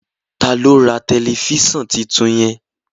Ta lo rà Tẹlifísàn títún yen.